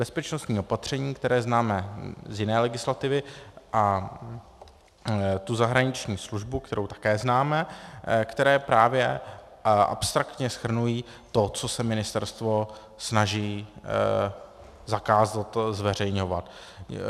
Bezpečnostní opatření, které známe z jiné legislativy, a tu zahraniční službu, kterou také známe, které právě abstraktně shrnují to, co se ministerstvo snaží zakázat zveřejňovat.